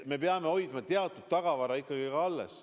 Me peame hoidma teatud tagavara ikkagi alles.